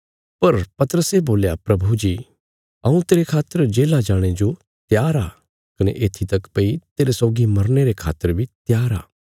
पर पतरसे बोल्या प्रभु जी हऊँ तेरे खातर जेल्ला जाणे जो त्यार आ कने येत्थी तक भई तेरे सौगी मरने रे खातर बी त्यार आ